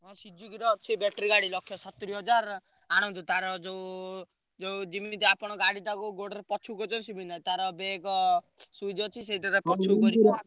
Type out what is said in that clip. ହଁ Suzuki ର ଅଛି battery ଗାଡି ଲକ୍ଷେ ସତୁରୀ ହଜାର ଆଣନ୍ତୁ ତାର ଯୋଉ ଯୋଉ ଯିମିତି ଆପଣ ଗାଡ଼ିଟାକୁ ଗୋଡରେ ପଛକୁ କରିଛନ୍ତି ସିମିତି ନାଇଁ ତାର ବେଗ switch ଅଛି ସେଇଥିରେ ।